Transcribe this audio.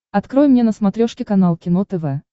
открой мне на смотрешке канал кино тв